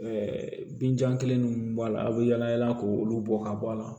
binjan kelen minnu b'a la a bɛ yaala yaala k' olu bɔ ka bɔ a la